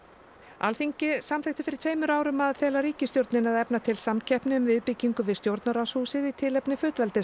Alþingi samþykkti fyrir tveimur árum að fela ríkisstjórninni að efna til samkeppni um viðbyggingu við stjórnarráðshúsið í tilefni